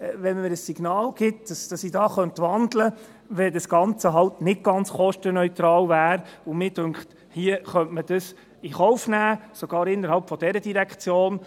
Wenn man mir das Signal gibt, dass ich wandeln könnte, wenn das Ganze nicht ganz kostenneutral wäre … Ich bin der Meinung, hier könnte man das in Kauf nehmen, sogar innerhalb dieser Direktion.